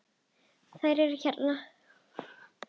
Þær eru hérna